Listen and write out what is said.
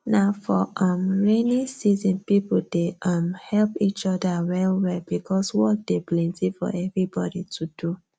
na for um raining season people dey um help each other well well because work dey plenty for everybody to do